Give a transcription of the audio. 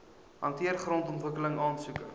hanteer grondontwikkeling aansoeke